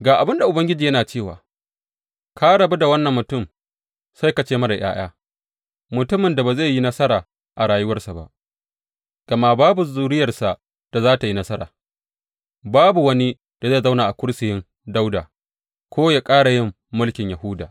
Ga abin da Ubangiji yana cewa, Ka rabu da wannan mutum sai ka ce marar ’ya’ya, mutumin da ba zai yi nasara a rayuwarsa ba, gama babu zuriyarsa da za tă yi nasara babu wani da zai zauna a kursiyin Dawuda ko ya ƙara yin mulkin Yahuda.